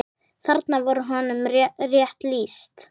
Þarna var honum rétt lýst.